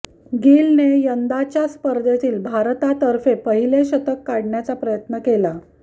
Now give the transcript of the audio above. गिलने यंदाच्या स्पर्धेतील भारतातर्फे पहिले शतक काढण्याचा प्रयत्न केला